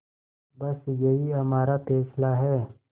बस यही हमारा फैसला है